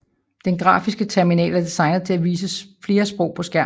Den grafiske terminal er designet til at vise flere sprog på skærmen